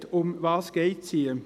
Worum geht es hier?